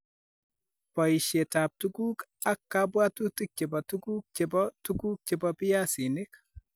Poisyetap tuguuk ak kabwaatutik che po tuguuk che po tuguuk che po piasinik.